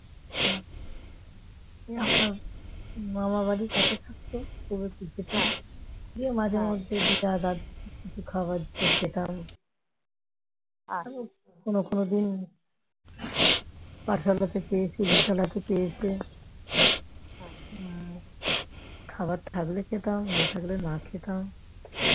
কোন কোন দিন এক বেলাতেও পেয়েছি দু বেলাতেও পেয়েছি খাওয়ার থাকলে খেতাম না থাকলে না খেতাম